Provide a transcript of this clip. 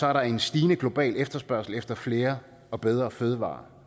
er der en stigende global efterspørgsel efter flere og bedre fødevarer